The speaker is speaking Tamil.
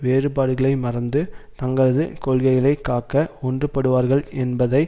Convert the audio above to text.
வேறுபாடுகளை மறந்து தங்களது கொள்கைகளை காக்க ஒன்றுபடுவார்கள் என்பதை